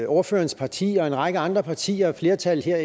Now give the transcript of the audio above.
ordførerens parti og en række andre partier et flertal her